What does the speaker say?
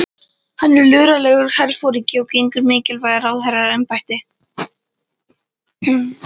Hann er luralegur herforingi og gegnir mikilvægu ráðherraembætti.